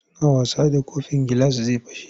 Suna wasa da kofin gilas zai fashe.